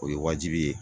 O ye wajibi ye